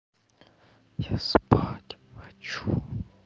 я спать хочу